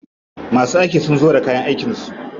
Masu aiki sun zo da kayan aikin su.